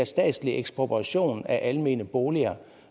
statslig ekspropriation af almene boliger